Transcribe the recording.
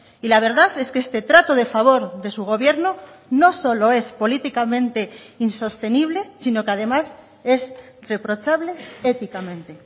y la verdad es que este trato de favor de su gobierno no solo es políticamente insostenible sino que además es reprochable éticamente